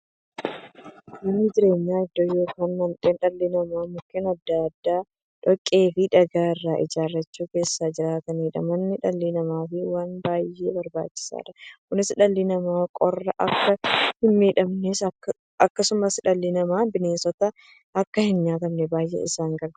Manni jireenyaa iddoo yookiin mandhee dhalli namaa Mukkeen adda addaa, dhoqqeefi dhagaa irraa ijaarachuun keessa jiraataniidha. Manni dhala namaaf waan baay'ee barbaachisaadha. Kunis, dhalli namaa qorraan akka hinmiidhamneefi akkasumas dhalli namaa bineensaan akka hinnyaatamneef baay'ee isaan gargaara.